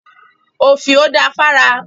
Òfìò da fára.